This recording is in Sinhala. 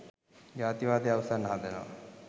ජාතිවාදය අවුස්සන්න හදනවා.